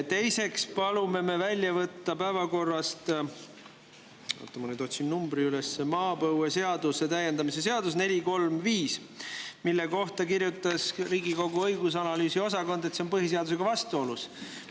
Teiseks palume me välja võtta päevakorrast – oota, ma nüüd otsin selle numbri üles – maapõueseaduse täiendamise seaduse 435, mille kohta kirjutas Riigikogu õigus- ja analüüsiosakond, et see on põhiseadusega vastuolus.